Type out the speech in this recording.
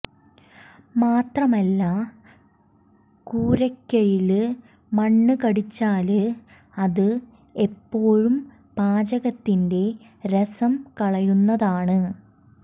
മാത്രമല്ല കൂര്ക്കയില് മണ്ണ് കടിച്ചാല് അത് എപ്പോഴും പാചകത്തിന്റെ രസം കളയുന്നതാണ്